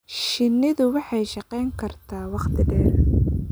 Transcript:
Shinnidu waxay shaqayn kartaa wakhti dheer